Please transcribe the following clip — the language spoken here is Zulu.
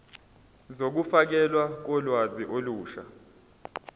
zokufakelwa kolwazi olusha